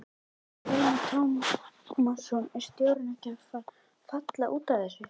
Telma Tómasson: Er stjórnin ekkert að falla út af þessu?